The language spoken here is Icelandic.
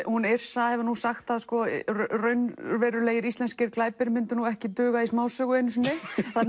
hún Yrsa hefur sagt að raunverulegir íslenskir glæpir myndu ekki duga í smásögu einu sinni